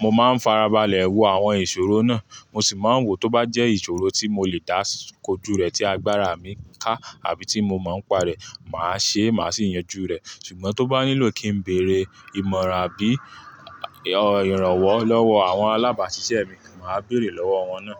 Mo máa ń farabalẹ̀ wo àwọn ìṣòro náà, mo sì máa ń wò tó bá jẹ́ ìṣòro tí mo lè dásíko jú rẹ̀ tí agbára mi ká àbí tí mo máa ń pa rẹ̀, màá ṣe, màá sì yanjú rẹ̀. Ṣùgbọ́n tó bá nílò kí ń bèrè ìmọ̀ràn àbí ìrànwọ́ lọ́wọ́ àwọn alábàásisẹ́ mi, màá bèrè lọ́wọ́ wọn náà.